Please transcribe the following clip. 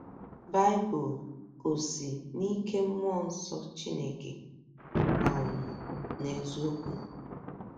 Baịbụl Ò Si “ n’Ike Mmụọ Nsọ Chineke ” um n’Eziokwu?